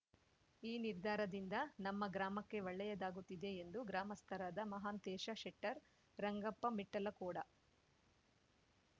ಈ ನಿರ್ಧಾರದಿಂದ ನಮ್ಮ ಗ್ರಾಮಕ್ಕೆ ಒಳ್ಳೆಯದಾಗುತ್ತಿದೆ ಎಂದು ಗ್ರಾಮಸ್ಥರಾದ ಮಹಾಂತೇಶ ಶೆಟ್ಟರ್ ರಂಗಪ್ಪ ಮಿಠ್ಠಲಕೋಡ